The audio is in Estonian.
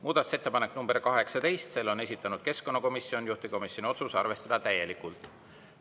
Muudatusettepanek nr 18, selle on esitanud keskkonnakomisjon, juhtivkomisjoni otsus: arvestada täielikult.